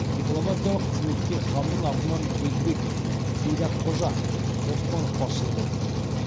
дипломатиялық қызметке ханның атынан өзбеқ сейдаққожа оспанов басшылық етті